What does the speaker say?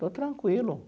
Estou tranquilo.